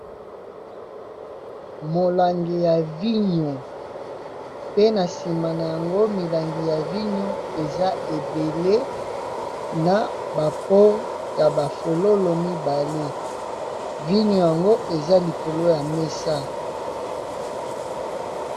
Molangi ya vigno pe na nsima na yango milangi ya vigno eza ebele.na ba peau ya ba fololo mibale, vigno yango eza likolo ya mesa.